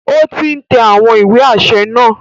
O ti n tẹ awọn ìwé aṣẹ naa